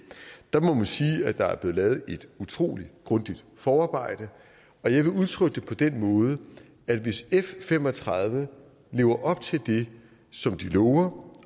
der må man sige at der er blevet lavet et utrolig grundigt forarbejde og jeg vil udtrykke det på den måde at hvis f fem og tredive lever op til det som de lover